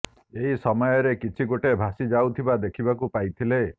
ଏହି ସମୟରେ କିଛି ଗୋଟେ ଭାସି ଯାଉଥିବା ଦେଖିବାକୁ ପାଇଥିଲେ